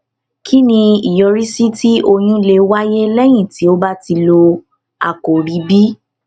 kí ni ìyọrísí tí oyún lè wáyé léyìn tí o bá ti lo àkòrí b